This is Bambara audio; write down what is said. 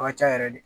A ka ca yɛrɛ de